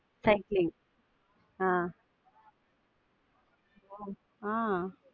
cycling ஆஹ் ஆஹ்